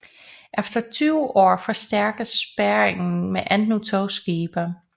Efter 20 år forstærkes spærringen med endnu to skibe